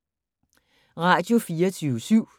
Radio24syv